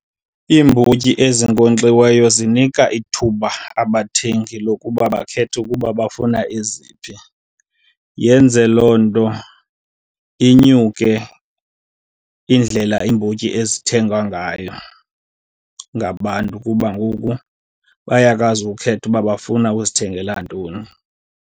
Iimbotyi ezinkonkxiweyo zinika ithuba abathengi lokuba bakhethe ukuba bafuna eziphi. Yenze loo nto inyuke indlela iimbotyi ezithengwa ngayo ngabantu kuba ngoku bayakwazi ukukhetha uba bafuna uzithengela ntoni.